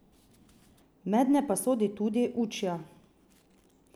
Mednje pa sodi tudi Učja.